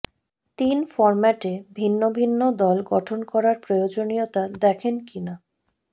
তিন ফরম্যাটে ভিন্ন ভিন্ন দল গঠন করার প্রয়োজনীয়তা দেখেন কিনা